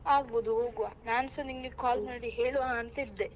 ಆಗ್ಬೋದು ಹೋಗುವ ನಾನ್ಸಾ ನಿಂಗೆ call ಹೇಳುವ ಅಂತ ಇದ್ದೆ.